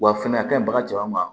Wa fɛnɛ a kaɲi baga caman